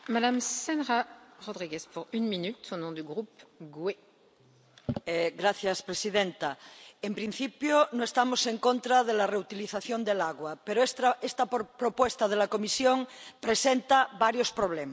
Señora presidenta, en principio no estamos en contra de la reutilización del agua, pero esta propuesta de la Comisión presenta varios problemas.